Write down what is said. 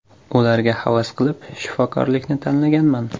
Ularga havas qilib, shifokorlikni tanlaganman.